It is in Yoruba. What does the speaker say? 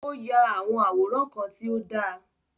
O ya awọn àwòrán kàn ti o da